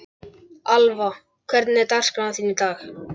Alva, hvernig er dagskráin í dag?